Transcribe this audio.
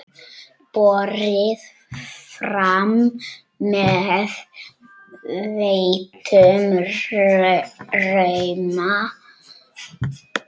Borið fram með þeyttum rjóma.